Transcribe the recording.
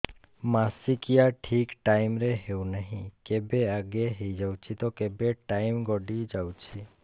ମାସିକିଆ ଠିକ ଟାଇମ ରେ ହେଉନାହଁ କେବେ ଆଗେ ହେଇଯାଉଛି ତ କେବେ ଟାଇମ ଗଡି ଯାଉଛି